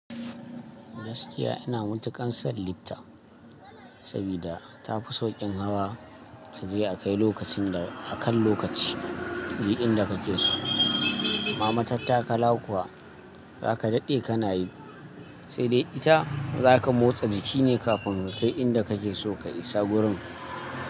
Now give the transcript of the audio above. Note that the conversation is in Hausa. Gaskiya ina matuƙar san lifta, saboda tafi sauƙin hawa, kaje a kai lokacin da akan lokaci, duk inda kake so. Amma mattakala kuwa zaka daɗe kana yi, sai dai ita zaka motsa jiki ne kafin ka kai inda kake so ka isa gurin.